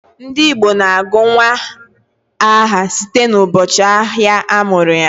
Ndị Igbo na-agụ nnwa aha site n'ụbọchị ahịa a mụrụ ya